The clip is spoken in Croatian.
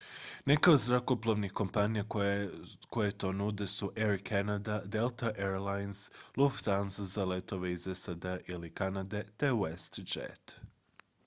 neke od zrakoplovnih kompanija koje to nude su air canada delta air lines lufthansa za letove iz sad-a ili kanade te westjet